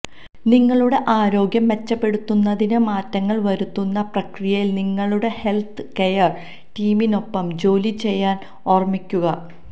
നിങ്ങളുടെ ആരോഗ്യം മെച്ചപ്പെടുത്തുന്നതിന് മാറ്റങ്ങൾ വരുത്തുന്ന പ്രക്രിയയിൽ നിങ്ങളുടെ ഹെൽത്ത് കെയർ ടീമിനൊപ്പം ജോലി ചെയ്യാൻ ഓർമിക്കുക